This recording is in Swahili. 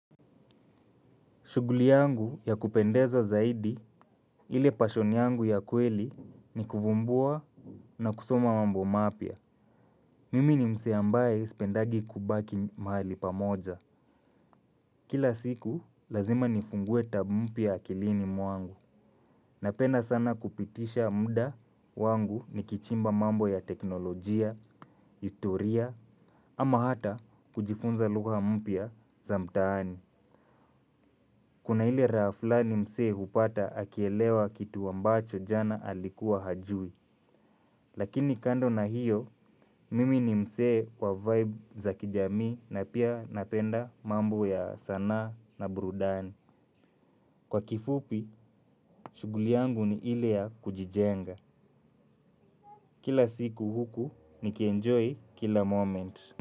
Shughuli yangu ya kupendezwa zaidi ili passion yangu ya kweli ni kuvumbua na kusoma mambo mapya. Mimi ni msee ambaye sipendagi kubaki mahali pamoja. Kila siku lazima nifungue tab mpya akilini mwangu. Napenda sana kupitisha muda wangu nikichimba mambo ya teknolojia, historia, ama hata kujifunza lugha mpya za mtaani. Kuna ile rafla ni msee hupata akielewa kitu ambacho jana alikuwa hajui. Lakini kando na hiyo, mimi ni msee wa vibe za kijamii na pia napenda mambo ya sanaa na burudani. Kwa kifupi, shughuli yangu ni ile ya kujijenga. Kila siku huku, nikienjoy kila moment.